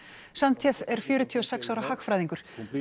sánchez er fjörutíu og sex ára hagfræðingur